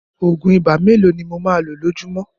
Òògùn ibà mélòó ni mo máa lo lójúmọ́